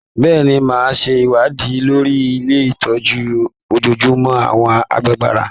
Bẹ́ẹ̀ni, máa ṣe ìwádìí lórí ilé ìtọ́jú ojojúmọ́ àwọn àgbàlagbà.